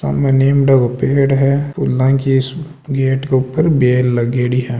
सामने नीमड़ा को पेड़ है फूला की गेट के ऊपर बेल लगेड़ी है।